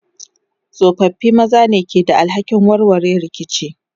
tsofaffi maza ne ke da alhakin warware rikici.